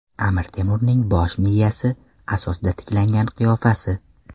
Amir Temurning bosh miyasi asosida tiklangan qiyofasi.